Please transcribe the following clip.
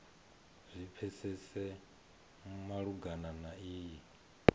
zwi pfesese malugana na iyi